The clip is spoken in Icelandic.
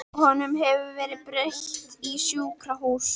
Honum hefur verið breytt í sjúkrahús.